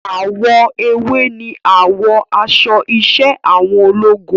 Àwọ̀ ewé ni àwọ̀ aṣọ iṣẹ́ àwọn ológun